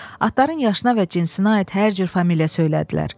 Atların yaşına və cinsinə aid hər cür familiya söylədilər.